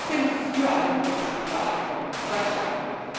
Ich bin für ein gutes Visaabkommen seit langem.